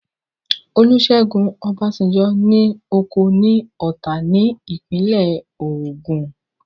Olúṣẹ́gun Ọbásanjọ́ ní oko ní Ọ̀tà ní ìpínlẹ̀ Ògùn